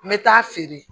N bɛ taa feere